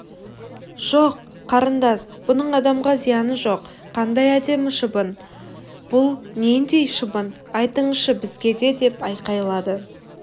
жоқ қарындас мұның адамға зияны жоқ қандай әдемі шыбын бұл нендей шыбын айтыңызшы бізге деп айқайлады